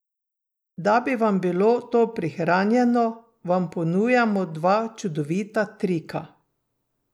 Da bi vam bilo to prihranjeno, vam ponujamo dva čudovita trika.